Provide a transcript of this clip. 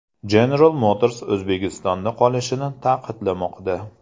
General Motors O‘zbekistonda qolishini ta’kidlamoqda.